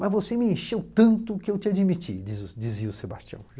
Mas você me encheu tanto que eu te admiti, dizia o Sebastião.